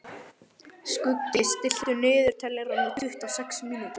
Skuggi, stilltu niðurteljara á tuttugu og sex mínútur.